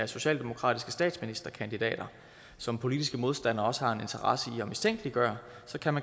socialdemokratiske statsministerkandidater som politiske modstandere også har en interesse i at mistænkeliggøre